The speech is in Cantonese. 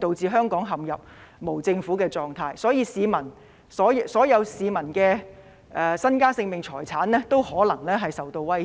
導致香港陷入無政府狀況，所有市民的身家、性命和財產均可能受到威脅。